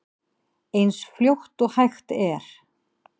Eins fljótt og hægt er.